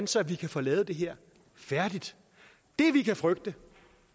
så vi kan få lavet det her færdigt det vi kan frygte